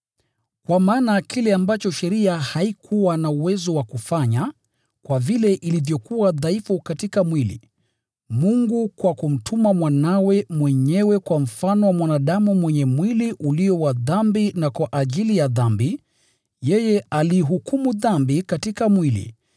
Kwa maana kile ambacho sheria haikuwa na uwezo wa kufanya, kwa vile ilivyokuwa dhaifu katika mwili, Mungu kwa kumtuma Mwanawe mwenyewe kwa mfano wa mwanadamu mwenye mwili ulio wa dhambi na kwa ajili ya dhambi, yeye aliihukumu dhambi katika mwili,